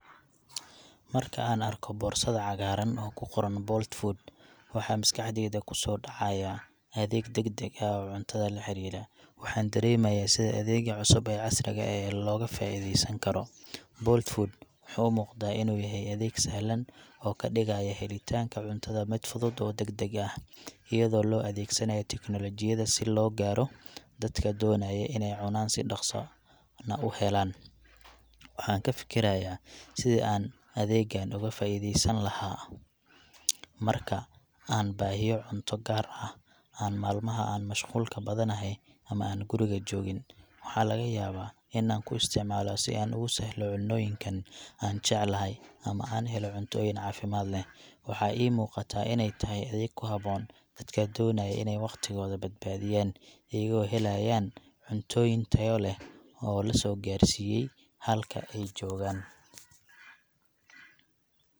Marka aan arko boorsada cagaaran oo ku qoran Bolt Food, waxaa maskaxdayda ku soo dhcayaa adeeg degdeg ah oo cuntada la xiriira. Waxaan dareemayaa sida adeegga cusub ee casriga ah ee looga faa'ideysan karo. Bolt Food wuxuu u muuqdaa inuu yahay adeeg sahlan oo ka dhigaya helitaanka cuntada mid fudud oo degdeg ah, iyadoo la adeegsanayo tiknoolajiyadda si loo gaaro dadka doonaya inay cunaan si dhakhso na u helaan. Waxaan ka fikirayaa sidii aan adeeggan uga faa'ideysan lahaa marka aan baahiyo cunto, gaar ah aan maalmaha aan mashquulka badanahay ama aan guriga joogin. Waxaa laga yaabaa in aan ku isticmaalo si aan ugu sahlo cunnooyinkan aan jecelahay ama aan helno cuntooyin caafimaad leh. Waxaa ii muuqataa inay tahay adeeg ku habboon dadka doonaya inay waqtigooda badbaadiyaan, iyagoo helayaan cuntooyin tayo leh oo la soo gaadhsiiyay halka ay joogaan.